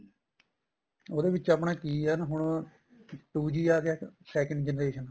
ਉਹਦੇ ਵਿੱਚ ਆਪਣਾ ਕੀ ਏ ਨਾ ਹੁਣ two G ਆ ਗਿਆ second generation